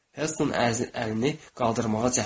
Helston əlini qaldırmağa cəhd etdi.